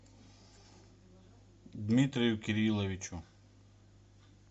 дмитрию кирилловичу